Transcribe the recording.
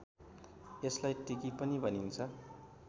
यसलाई टिकी पनि भनिन्छ